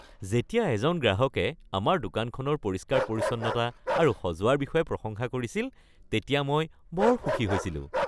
যেতিয়া এজন গ্ৰাহকে আমাৰ দোকানখনৰ পৰিষ্কাৰ-পৰিচ্ছন্নতা আৰু সজোৱাৰ বিষয়ে প্ৰশংসা কৰিছিল তেতিয়া মই বৰ সুখী হৈছিলোঁ।